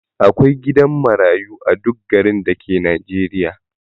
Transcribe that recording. Akwai gidan marayu a duk garin dake najeriya